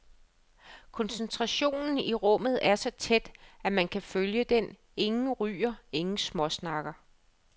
Koncentrationen i rummet er så tæt, at man kan føle den, ingen ryger, ingen småsnakker.